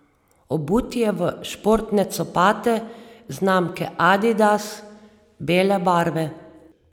Obut je v športne copate znamke adidas, bele barve.